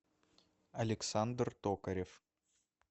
александр токарев